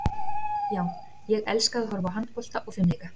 Já, ég elska að horfa á handbolta og fimleika.